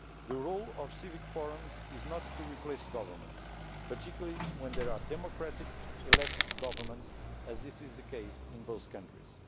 The role of civic forums is not to replace governments, particularly when they are democratically elected governments, as is the case in both countries.